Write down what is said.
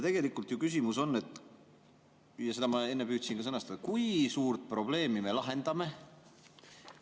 Tegelikult ju küsimus on, ja seda ma enne püüdsin ka sõnastada: kui suurt probleemi me lahendame?